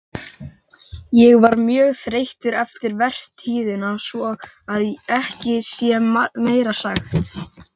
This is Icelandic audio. Ég var mjög þreyttur eftir vertíðina svo að ekki sé meira sagt.